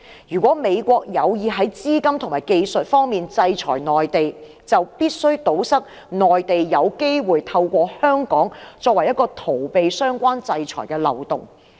如果美國有意在資金及技術方面制裁內地，就必須堵塞內地有機會透過香港作為逃避相關制裁的漏洞。